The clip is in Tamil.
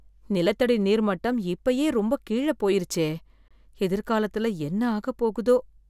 நிலத்தடி நீர் மட்டம் இப்பயே ரொம்ப கீழ போயிருச்சே, எதிர்காலத்துல என்ன ஆக போகுதோ?